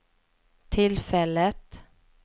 tillfället